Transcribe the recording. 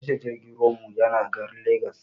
Tashar jirgin ruwan mu yana garin legas